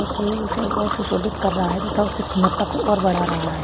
जो कि उसे और सुशोभित कर रहा है तथा उसकी सुंदरता को और बढ़ा रहा है।